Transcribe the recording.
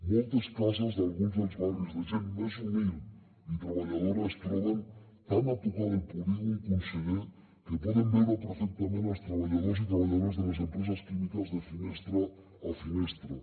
moltes cases d’alguns dels barris de gent més humil i treballadora es troben tant a tocar del polígon conseller que poden veure perfectament els treballadors i treballadores de les empreses químiques de finestra a finestra